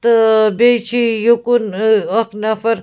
.تہٕ بیٚیہِ چھ یوٚکُن ااکھ نفر